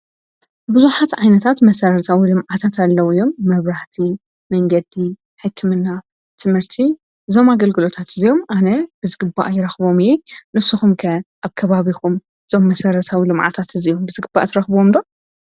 ብዙኃት ዓይነታት መሠረርታዊ ልምዓታት ኣለዉእዮም መብራህቲ መንገዲ ሕክምና ትምህርቲ ዞም ኣገልግሎታት እዘዮም ኣነ ብዝግባእ ይረኽቦም የ ንስኹምከ ኣከባቢኹም ዞም መሠረታዊ ልማዓታት እዚዮም ብዝግባ ትረኽብዎምዶ